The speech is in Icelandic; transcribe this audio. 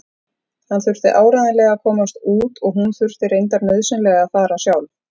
Hann þurfti áreiðanlega að komast út og hún þurfti reyndar nauðsynlega að fara sjálf.